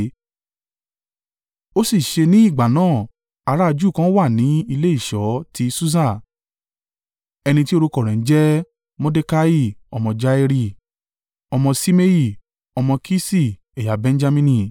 Ó sì ṣe ní ìgbà náà ará a Júù kan wà ní ilé ìṣọ́ ti Susa, ẹni tí orúkọ rẹ̀ ń jẹ́ Mordekai ọmọ Jairi, ọmọ Ṣimei, ọmọ Kiṣi, ẹ̀yà Benjamini,